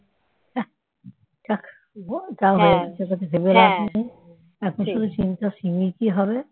আঃ যাক তবু যা হয়েছে সেটাতো ভেবে লাভ নেই এখন শুধু চিন্তা সিমির কি হবে